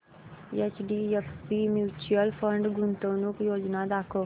HDFC mutual fund गुंतवणूक योजना दाखव